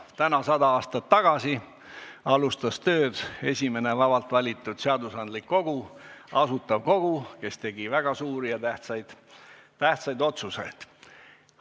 Täna 100 aastat tagasi alustas tööd esimene vabalt valitud seadusandlik kogu – Asutav Kogu, kes tegi väga suuri ja tähtsaid otsuseid.